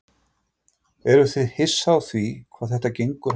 Eruð þið hissa á því hvað þetta gengur hægt?